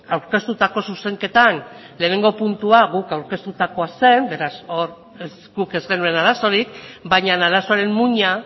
aurkeztutako zuzenketan lehenengo puntua guk aurkeztutakoa zen beraz hor guk ez genuen arazorik baina arazoaren muina